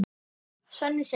Svenni segir